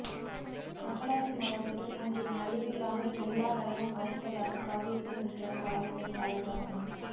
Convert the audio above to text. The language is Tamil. மக்களாட்சி மலர்ந்ததும் அங்கே நலிவில்லாமல் எல்லா நலமும் வாய்த்ததாகக் காவியத்தை முடிக்கிறார் பாவேந்தர் பாரதிதாசன்